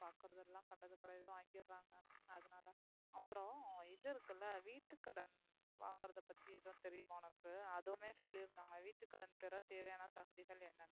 அதுலம் அப்பறம் இது இருக்குள்ள வீட்டு கடன் வாங்கறத பத்தி ஏதும் தெரியுமா உனக்கு. அதுவுமே சொல்லிருந்தங்க வீட்டு கடனுக்கு தேவையான சான்றிதழ் என்ன.